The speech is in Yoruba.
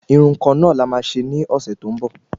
Irun kan na la má ṣe ní ọsẹ tó ń bọ̀